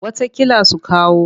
Wataƙila su kawo.